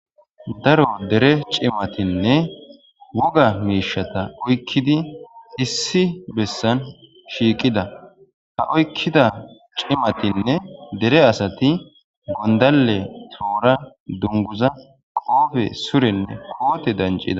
Daro dere cimatinne woga miishshata oykkidi issi bessan shiiqida .Ha oykkida cimatinne dere asati gonddalle ,toora,dunguza,qoobe surenne dancida.